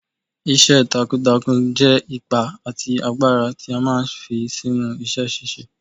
Iṣẹ́ takuntakun jẹ́ ipá àti agbára tí a máa ń fi sínú iṣẹ́ ṣíṣe.